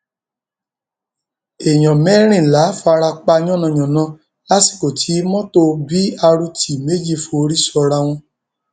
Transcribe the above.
èèyàn mẹrìnlá fara pa yànnàyànnà lásìkò tí mọtò b rt méjì forí sọra wọn